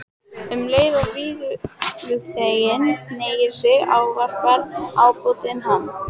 Um leið og vígsluþeginn hneigir sig ávarpar ábótinn hann